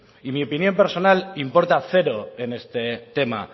y mi opinión personal importa cero en este tema